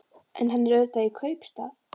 En hann er auðvitað í kaupstað.